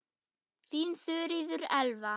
Þín Þuríður Elva.